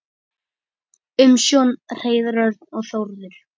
Umsjón Hreiðar Örn og Þórður.